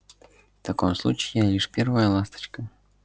в таком случае я лишь первая ласточка